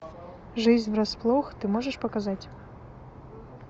жизнь врасплох ты можешь показать